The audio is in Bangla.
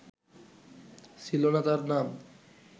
ছিল না তার নাম